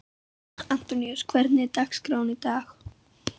Antoníus, hvernig er dagskráin í dag?